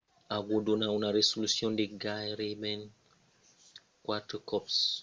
aquò dona una resolucion de gaireben quatre còps la d’un negatiu 35 mm 3136 mm2 contra 864